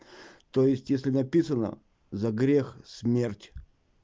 то есть если написано за грех смерть